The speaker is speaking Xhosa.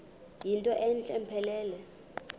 yinto entle mpelele